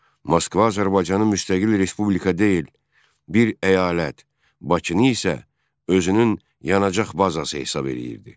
Moskva Azərbaycanı müstəqil respublika deyil, bir əyalət, Bakını isə özünün yanacaq bazası hesab eləyirdi.